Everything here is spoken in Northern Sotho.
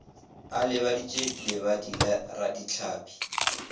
a lebadiše lebadi la radihlapi